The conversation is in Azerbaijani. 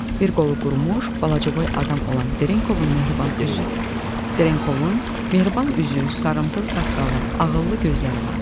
Bir qolu qurumuş, balacaboy adam olan Trenkovun mehriban üzü, Trenkovun mehriban üzü, sarımtıl saqqalı, ağıllı gözləri vardı.